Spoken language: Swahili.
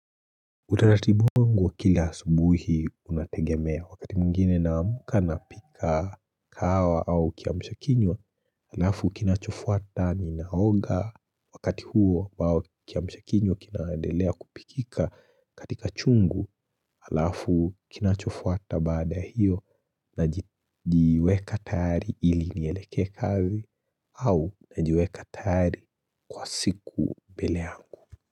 Utaratibu wangu wa kila subuhi unategemea wakati mwingine na amka napika kawa au kiamshakinywa alafu kinachofuata ninaoga wakati huo ambao kiamshakinyo kinadelea kupikika katika chungu alafu kinachofuata baada hiyo na jiweka tayari ili nielekee kazi au na jiweka tayari kwa siku mbele yangu.